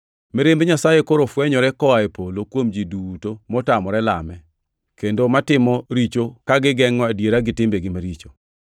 Mirimb Nyasaye koro fwenyore koa e polo kuom ji duto motamore lame, kendo matimo richo ka gigengʼo adiera gi timbegi maricho.